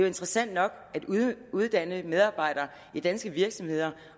interessant nok at uddanne medarbejdere i danske virksomheder